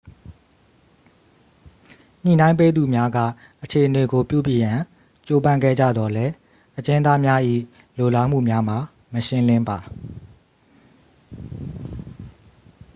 ညှိနှိုင်းပေးသူများက အခြေအနေကို ပြုပြင်ရန် ကြိုးပမ်းခဲ့ကြသော်လည်း အကျဉ်းသားများ၏ လိုလားမှုများမှာ မရှင်းလင်းပါ